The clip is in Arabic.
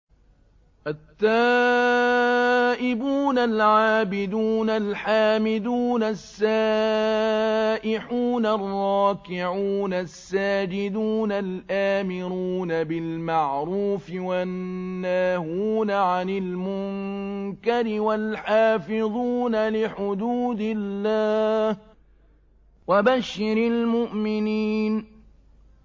التَّائِبُونَ الْعَابِدُونَ الْحَامِدُونَ السَّائِحُونَ الرَّاكِعُونَ السَّاجِدُونَ الْآمِرُونَ بِالْمَعْرُوفِ وَالنَّاهُونَ عَنِ الْمُنكَرِ وَالْحَافِظُونَ لِحُدُودِ اللَّهِ ۗ وَبَشِّرِ الْمُؤْمِنِينَ